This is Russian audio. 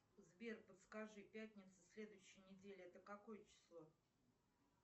сбер подскажи пятница следующей недели это какое число